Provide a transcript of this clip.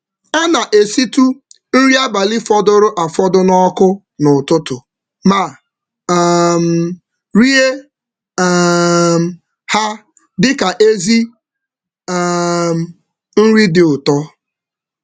Ọ na-ekpokwa nri fọdụrụ n’abalị maka nri ụtụtụ dị ụtọ ngwa ngwa.